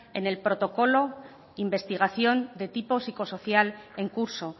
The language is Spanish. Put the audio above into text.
en el protocolo investigación de tipo psicosocial en curso